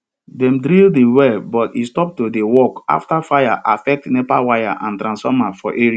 dem drill the well but e stop to dey work after fire affect nepa wire and transformer for area